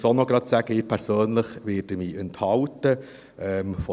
Ich erwähne auch noch, dass ich mich persönlich enthalten werde.